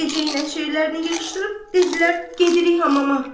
Gecə ilə şeyrlərini yığışdırıb dedilər gedirik hamama.